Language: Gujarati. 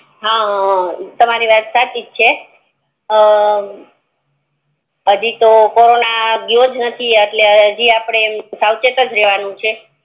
હા તમારી વાત સાચીજ છે અમ હજી તો ભણવા ગયો જ નથી એટલે સાવચેત જ રેવાનું છે